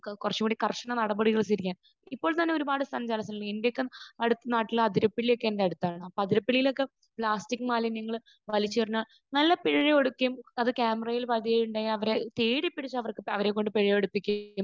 കുറച്ചുകൂടി കർശന നടപടികൾ സ്വീകരിക്കാൻ. ഇപ്പോൾ തന്നെ ഒരുപാട് സ്ഥലം ഏഹ് എന്റെയൊക്കെ അടു...നാട്ടിൽ അതിരപ്പിള്ളിയൊക്കെ എന്റെ അടുത്താണ്. അതിരപ്പിള്ളിയിലൊക്കെ പ്ലാസ്റ്റിക് മാലിന്യങ്ങൾ വലിച്ചെറിഞ്ഞാൽ നല്ല പിഴ കൊടുക്കുകയും അത് ക്യാമെറയിൽ പതിയുകയും അവരെ തേടിപ്പിടിച്ച് അവരെക്കൊണ്ട് പിഴയടപ്പിക്കുകയും